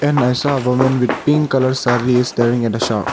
and i saw a woman with pink colour saree staring at a shop.